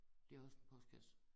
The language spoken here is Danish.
Det også en postkasse